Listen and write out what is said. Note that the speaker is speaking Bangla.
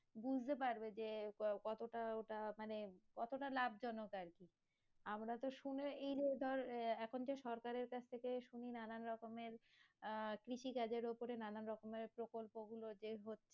বুঝতে পারবে যে আহ কতোটা ওটা মানে কতটা লাভজনক আর কি আমরা তো শুনে এইযে ধর আহ এখন যে সরকারের কাছ থেকে শুনি নানান রকমের আহ কৃষিকাজের ওপরে নানান রকমের প্রকল্প গুলো যে হচ্ছে